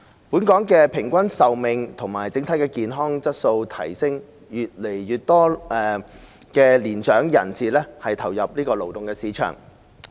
本港平均壽命和整體健康質素提升，越來越多年長人士投入勞動市場。